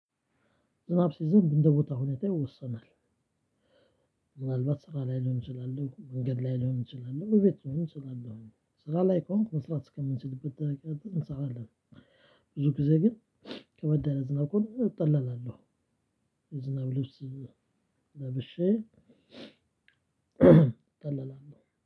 ዝናብ ሲዘንብ እንደ ቦታ ሁኔታ ይወሰናል። ምናልባት ስራ ላይ ሊሆን ይችላል መንገድ ላይ ሊሆን ይችላል እቤቱንም ይችላል። ስራ ላይ ከሆንክ መስራት እስከምንችልበት ድረስ እንሰራለን። ብዙ ጊዜ ግን ከመዳነ ዝናብ ከሆነ እጠላላለሁ። የዝናብ ልብስ ለበሼ ለብሼ ጠላላባው